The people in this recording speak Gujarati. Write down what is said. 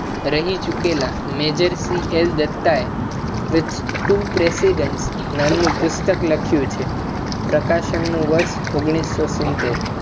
રહી ચુકેલા major સીએસ દત્તા એ with two president નામનુ પુસ્તક લખ્યું છે. પ્રકાશનનુ વર્ષ ઓગણીસો સિત્તર